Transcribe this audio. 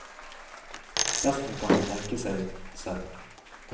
Resten kan man tenke seg selv.